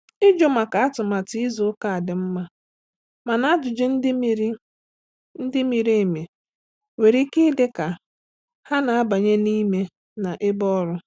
Ịjụ maka atụmatụ izu ụka dị mma, mana ajụjụ ndị miri ndị miri emi nwere ike ịdị ka ha na-abanye n’ime na ebe ọrụ.